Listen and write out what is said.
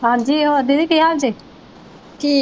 ਹਾਂਜੀ ਹਾਂਜੀ ਦੀਦੀ ਕੀ ਹਾਲ ਜੇ